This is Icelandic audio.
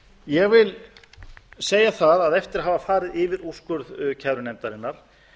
ég vil segja það að eftir að hafa farið yfir úrskurð kærunefndarinnar